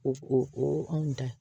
O o anw ta